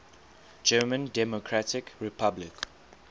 german democratic republic